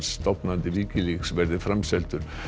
stofnandi Wikileaks verði framseldur